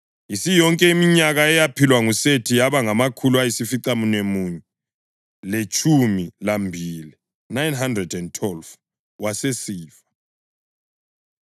Isiyonke iminyaka eyaphilwa nguSethi yaba ngamakhulu ayisificamunwemunye letshumi lambili (912), wasesifa.